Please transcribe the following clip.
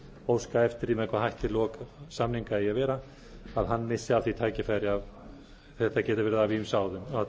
óska eftir því með hvaða hætti lok samninga eigi að vera missi af því tækifæri þetta getur verið af ýmsum